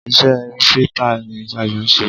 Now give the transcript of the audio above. Ise rìpọ́tà ní Sayo n se.